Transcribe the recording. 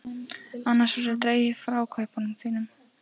Annars verður dregið frá kaupinu þínu.